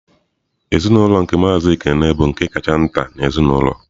Ezinụlọ nke Maazị Ekene bụ nke kacha nta n'ezinaụlọ.